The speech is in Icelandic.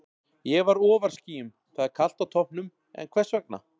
Ég var ofar skýjun Það er kalt á toppnum, en hvers vegna?